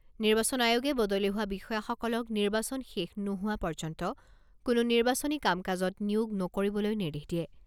নিৰ্বাচন আয়োগে বদলি হোৱা বিষয়াসকলক নিৰ্বাচন শেষ নোহোৱা পৰ্যন্ত কোনো নিৰ্বাচনী কাম কাজত নিয়োগ নকৰিবলৈ নিৰ্দেশ দিয়ে।